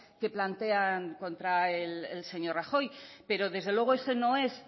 que plantean contra el señor rajoy pero desde luego eso no es